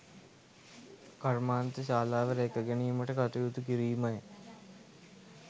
කර්මාන්ත ශාලාව රැක ගැනීමට කටයුතු කිරීමය